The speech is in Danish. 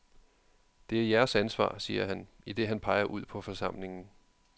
Det er jeres ansvar, siger han, idet han peger ud på forsamlingen.